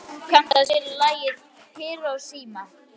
Anton, kanntu að spila lagið „Hiroshima“?